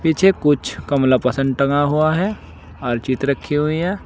पीछे कुछ कमला पसंद टंगा हुआ है और रखी हुई है।